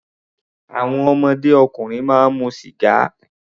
Àwọn ọmọdé ọkùnrin máa mu sìgá.